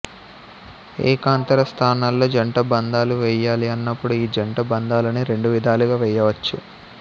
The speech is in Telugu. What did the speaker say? ఏకాంతర స్థానాల్లో జంట బంధాలు వెయ్యాలి అన్నప్పుడు ఈ జంట బంధాలని రెండు విధాలుగా వెయ్యవచ్చు